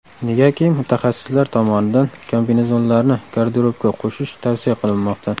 Negaki mutaxassislar tomonidan kombinezonlarni garderobga qo‘shish tavsiya qilinmoqda.